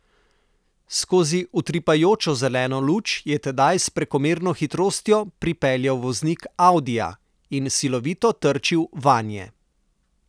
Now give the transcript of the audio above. Skozi utripajočo zeleno luč je tedaj s prekomerno hitrostjo pripeljal voznik audija, in silovito trčil vanje.